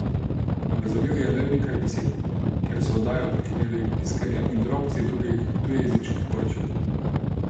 Razumel je le nekaj besed, ker so oddajo prekinjali piskanje in drobci drugih tujejezičnih poročil.